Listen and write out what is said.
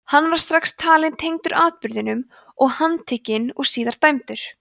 hann var strax talinn tengdur atburðinum og handtekinn og síðar dæmdur